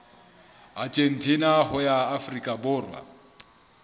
argentina ho ya afrika borwa